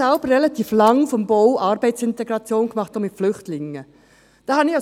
Ich selbst habe relativ lange Arbeitsintegration auf dem Bau gemacht, auch mit Flüchtlingen.